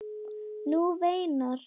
Hún veinar.